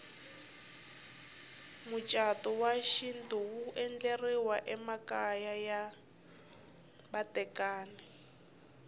mucatu wa xintu wu endleriwa emakaya ya vatekani